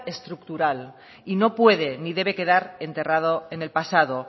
estructural y no puede ni debe quedar enterrado en el pasado